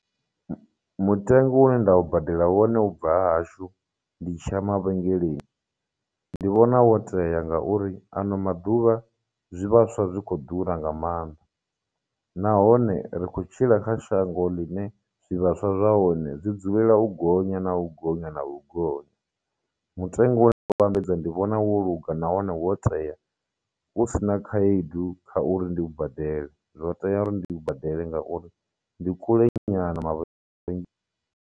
Mutengo une nda u badela wone u bva ha hashu ndi tshi ya mavhengeleni, ndi vhona wo tea ngauri ano maḓuvha zwivhaswa zwi khou ḓura nga maanḓa, nahone ri khou tshila kha shango ḽine zwivhaswa zwa hone dzi dzulela u gonya na u gonya na u gonya. Mutengo vhambedza ndi vhona wo luga nahone wo tea, husina khaedu kha uri ndi u badela, zwo tea uri ndi u badele ngauri ndi kule nyana ma .